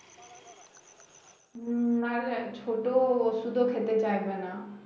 উম না না ছোট ওষুধও খেতে চাইবে না